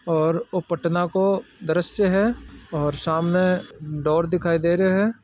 और पटना को द्रश्य है और सामने डोर दिखाय दे रहो है।